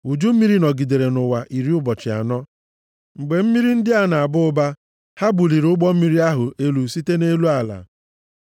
Uju mmiri nọgidere nʼụwa iri ụbọchị anọ. Mgbe mmiri ndị a na-aba ụba, ha buliri ụgbọ mmiri ahụ elu site nʼelu ala.